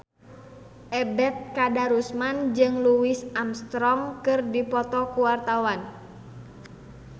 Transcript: Ebet Kadarusman jeung Louis Armstrong keur dipoto ku wartawan